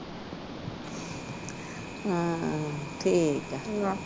ਹਾਂ ਠੀਕ ਆ